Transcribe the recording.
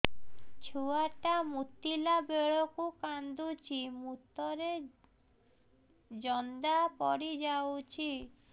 ଛୁଆ ଟା ମୁତିଲା ବେଳକୁ କାନ୍ଦୁଚି ମୁତ ରେ ଜନ୍ଦା ପଡ଼ି ଯାଉଛି